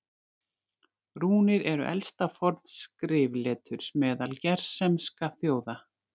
Rúnir eru elsta form skrifleturs meðal germanskra þjóða.